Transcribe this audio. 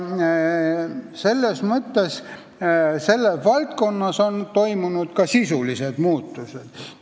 Selles valdkonnas on toimunud ka sisulised muudatused.